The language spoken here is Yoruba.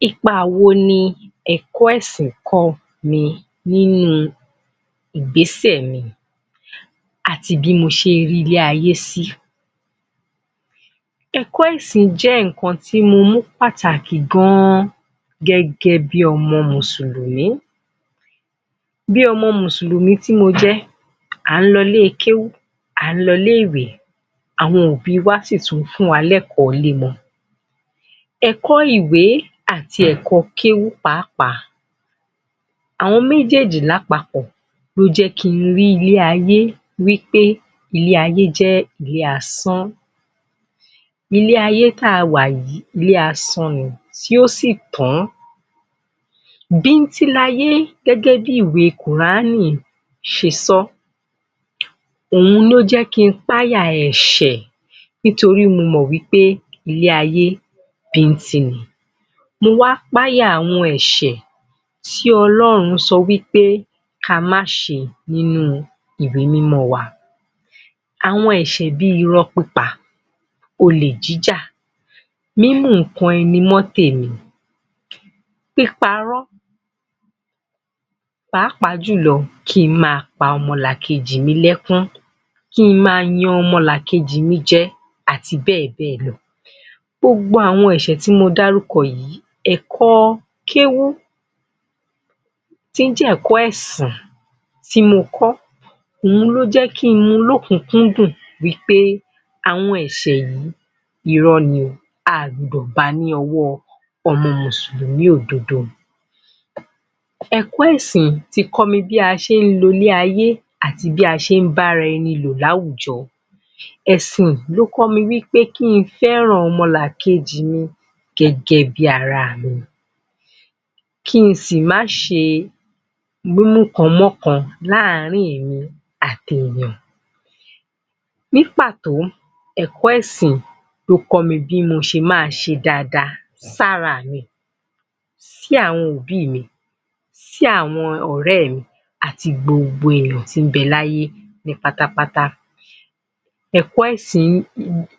[Khi…] Ipa wo ni ẹ̀kọ́ ẹ̀sìn kọ́ mi nínú ìgbésẹ̀ mi àti bí mo ṣe rí ilé ayé sí? Ẹ̀kọ́ ẹ̀sìn jẹ́ nǹkan tí mo mú pàtàkì gan-an gẹ́gẹ́ bí ọmọ mùsùlùmí. Bí ọmọ mùsùlùmí tí mo jẹ́, à ń lọ ilé-kéwú, à ń lọ ilé-ìwé, àwọn òbí wa sì tún ń fún wa ní ẹ̀kọ́-ilé mọ. Ẹ̀kọ́-ìwé àti ẹ̀kọ́-kéwú pàápàá àwọn méjèèjì lápapọ̀ ló jẹ́ kí n rí ilé-ayé wí pé, ilé-aye jẹ́ ilé asán. Ilé-ayé tá a wà yìí, ilé asán ni tí yóò sì tán. Bín-ín-tín layé gẹ́gẹ́ bí ìwé kùránì ṣe sọ ọ́. Òun ló jẹ́ kí n pááyà ẹ̀ṣẹ̀ nítorí mo mọ̀ wí pé ilé-ayé, bín-ín-tín ni. Mo wá pááyà àwọn ẹ̀ṣẹ̀ tí Ọlọ́run sọ wí pé ka má ṣe nínú ìwé mímọ́ wa. Àwọn ẹ̀ṣẹ̀ bi irọ́ pípa, olè jíjà, mímú nǹkan ẹni mọ́ tèmi, píparọ́, pàápàá jùlọ kí n máa pa ọmọlàkejì mi lẹ́kún. Kí n máa yan ọmọlàkejì mi jẹ àti bẹ́ẹ̀ bẹ́ẹ̀ lọ. Gbogbo àwọn ẹ̀ṣẹ̀ tí mo dárúkọ yìí, ẹ̀kọ́ kéwú tí ó jẹ́ ẹ̀kọ́ ẹ̀sìn tí mo kọ́, òun ló jẹ́ kí n mu lọ́kùn-ún-kún-dùn wí pé àwọn ẹ̀ṣẹ̀ yìí, irọ́ ni o, a ò gbudọ̀ ba ní ọwọ́ ọmọ mùsùlùmí òdodo. Ẹ̀kọ́ ẹ̀sìn ti kọ́ mi bí a ṣe ń lo ilé-ayé àti bí a ṣe ń bá ara ẹni lò láwùjọ. Ẹ̀sìn ló kọ́ mi wí pé kí n fẹ́ràn ọmọlàkejì mi gẹ́gẹ́ bí ara mi. Kí n sì má ṣe mímúkan mọ́kan láàárín èmi àti èèyàn. Ní pàtó, ẹ̀kọ́ ẹ̀sìn ló kọ́ mi bí mo ṣe máa ṣe dáadáa sára mi, sí àwọn òbí mi, sí àwọn ọ̀rẹ́ mi àti gbogbo èèyàn tí ń bẹ láyé ní pátápátá.